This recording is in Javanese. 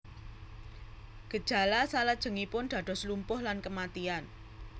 Gejala salajengipun dados lumpuh lan kematian